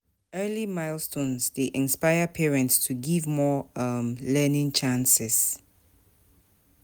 Early milestones dey inspire parents to give more um learning chances.